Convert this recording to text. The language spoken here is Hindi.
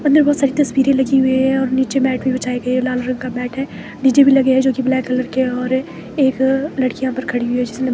अंदर बहुत सारी तस्वीरें लगी हुई हैं और नीचे मैट भी बिछाए गए हैं लाल रंग का मैट है डी_जे भी लगे हैं जो कि ब्लैक कलर के और एक लड़की यहां पर खड़ी हुई है जिसने--